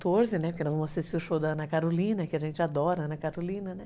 Porque nós vamos assistir o show da Ana Carolina, que a gente adora a Ana Carolina, né?